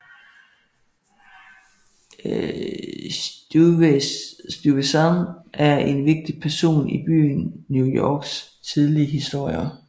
Stuyvesant er en vigtig person i byen New Yorks tidlige historie